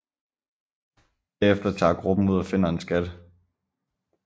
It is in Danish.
Derefter tager gruppen ud og finder en skat